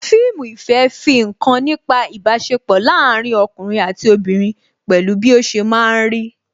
Fíìmù ìfẹ́ fi nkan nípa ibasepo láàárín ọkùnrin àti obìnrin pẹ̀lú bí ó ṣe máa ń rí